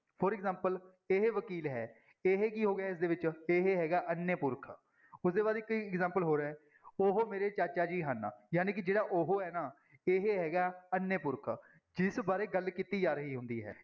For example ਇਹ ਵਕੀਲ ਹੈ ਇਹ ਕੀ ਹੋ ਗਿਆ ਇਸਦੇ ਵਿੱਚ, ਇਹ ਹੈਗਾ ਅਨਯ ਪੁਰਖ ਉੁਹਦੇ ਬਾਅਦ ਇੱਕ example ਹੋਰ ਹੈ ਉਹ ਮੇਰੇ ਚਾਚਾ ਜੀ ਹਨ, ਜਾਣੀ ਕਿ ਜਿਹੜਾ ਉਹ ਹੈ ਨਾ, ਇਹ ਹੈਗਾ ਅਨਯ ਪੁਰਖ ਜਿਸ ਬਾਰੇ ਗੱਲ ਕੀਤੀ ਜਾ ਰਹੀ ਹੁੰਦੀ ਹੈ।